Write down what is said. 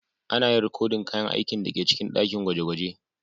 Ana yin rikodin kayan aikin da ke cikin dakin gwaje-gwaje.